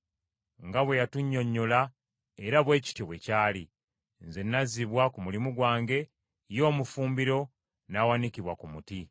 Nga bwe yatunnyonnyola era bwe kityo bwe kyali; nze nazzibwa ku mulimu gwange, ye omufumbiro, n’awanikibwa ku muti.”